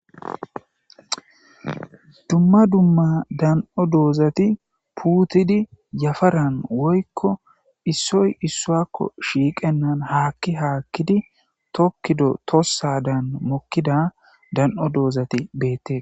Dumma dumma dan7o doozati puutidi yafaran woykko issoy issuakko shiiqennan haakki haakkidi tokkido tossa daan mokkida dan7o doozati beette.